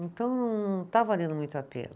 Então, não está valendo muito a pena.